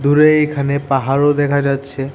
দূরে এইখানে পাহাড়ও দেখা যাচ্ছে।